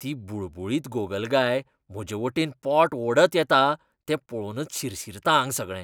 ती बुळबुळीत गोगलगाय म्हजेवटेन पोट ओडत येता तें पळोवनच शिरशिरता आंग सगळें.